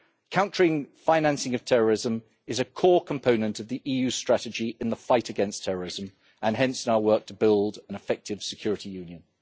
Countering financing of terrorism is a core component of the EU strategy in the fight against terrorism and hence in our work to build an effective security union.